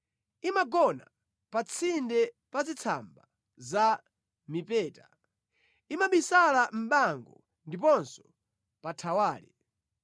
Imagona pa tsinde pa zitsamba za mipeta, imabisala mʼbango ndiponso pa thawale.